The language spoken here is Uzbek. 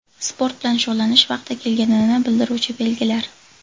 Sport bilan shug‘ullanish vaqti kelganini bildiruvchi belgilar.